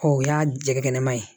Ɔ o y'a jɛgɛkɛnɛma ye